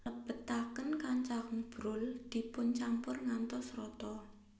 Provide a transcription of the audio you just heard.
Lebetaken kacang brol dipuncampur ngantos rata